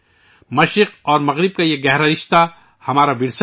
مشرق اور مغرب کا یہ گہرا رشتہ ہمارا ورثہ ہے